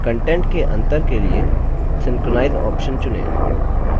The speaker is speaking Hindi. contents के अंतर के लिए synchronize option चुनें